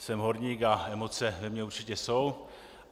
Jsem horník a emoce ve mně určitě jsou.